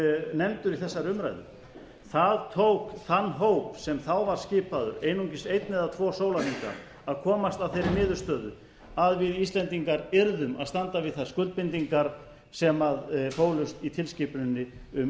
nefndur í þessari umræðu það tók þann hóp sem þá var skipaður einungis einn eða tvo sólarhringa að komast að þeirri niðurstöðu að við íslendingar yrðum að standa við þær skuldbindingar sem fólust í tilskipuninni um